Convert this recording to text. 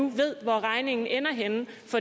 ved hvor regningen ender henne